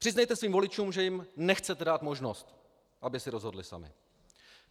Přiznejte svým voličům, že jim nechcete dát možnost, aby si rozhodli sami.